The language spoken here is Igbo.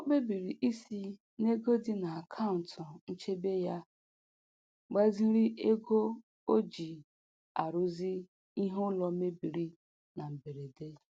O kpebiri isi n'ego dị n'akaụntụ nchebe ya gbaziri ego o ji arụzi ihe ụlọ mebiri na mberede.